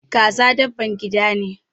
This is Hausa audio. Kaza dabban gida ne.